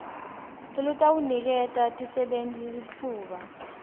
lolutawuniketa tisebenti litfuba